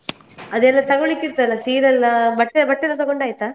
ಅದೆಲ್ಲ ತಗೋಳಿಕ್ಕಿರ್ತ ಅಲ್ಲ ಸೀರೆ ಎಲ್ಲಾ ಬಟ್ಟೆ ಬಟ್ಟೆ ಎಲ್ಲಾ ತಗೊಂಡಾಯ್ತಾ?